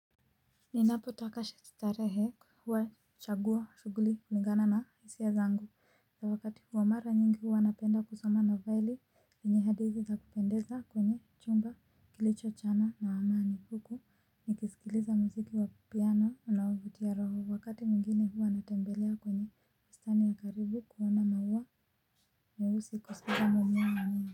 Ninapotaka starehe, huwa nachagua shughuli kulingana na hisia zangu ya wakati huwamara nyingi huwa anapenda kusoma na vaili. Vinyehadizi za kupendeza kwenye chumba kilicho chana na wamaani huku nikisikiliza mziki wa piano unaovutia roho wakati mwingine huwa natembelea kwenye bustani ya karibu kuona maua meusi kuspida mwamiya mwamiya.